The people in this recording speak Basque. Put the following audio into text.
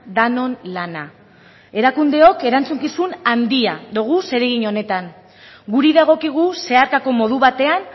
denon lana erakundeok erantzukizun handia dugu zeregin honetan guri dagokigu zeharkako modu batean